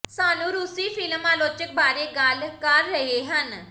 ਸਾਨੂੰ ਰੂਸੀ ਫਿਲਮ ਆਲੋਚਕ ਬਾਰੇ ਗੱਲ ਕਰ ਰਹੇ ਹਨ